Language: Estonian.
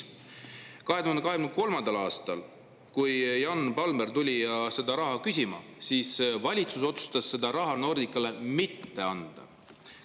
2023. aastal, kui Jan Palmér tuli raha küsima, otsustas valitsus seda Nordicale mitte anda.